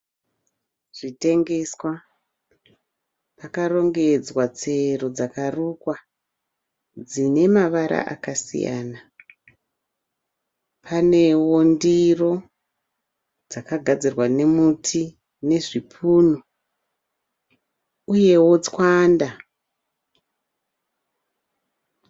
Zvitengeswa pakarongedzwa tsero dzakarukwa dzine mavara akasiyana. Panewo ndiro dzakagadzirwa nemuti nezvipunu, uyewo tswanda.